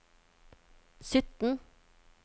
sytten